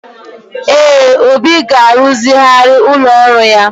Ee, Obi ga-ruzigharị ụlọ ọrụ ya.